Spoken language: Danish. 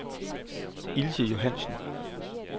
Ilse Johannessen